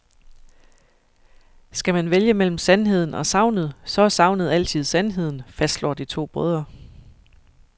Skal man vælge mellem sandheden og sagnet, så er sagnet altid sandheden, fastslår de to brødre.